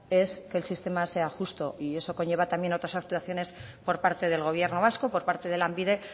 es que el sistema sea justo y eso conlleva también otras actuaciones por parte del gobierno vasco por parte de lanbide